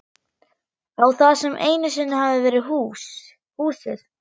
Á það sem einu sinni hafði verið húsið.